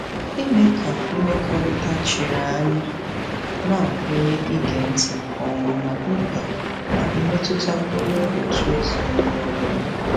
Ime ka mmekọrịta chiri anya na-agụnye ige ntị nke ọma ná mkpa na mmetụta onye òtù ezinụlọ ọ bụla.